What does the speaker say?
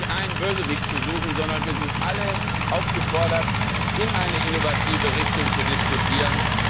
Wir brauchen nicht einen Bösewicht zu suchen, sondern wir sind alle aufgefordert, in eine innovative Richtung zu diskutieren.